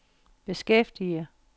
beskæftiger